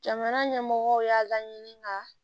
Jamana ɲɛmɔgɔw y'a laɲini ka